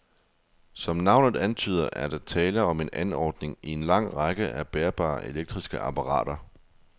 Som navnet antyder, er der tale om en anordning i en lang række af bærbare elektriske apparater.